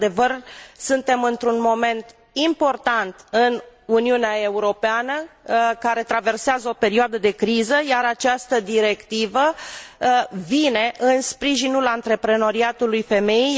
Într adevăr, suntem într un moment important în Uniunea Europeană, care traversează o perioadă de criză, iar această directivă vine în sprijinul antreprenoriatului femeii.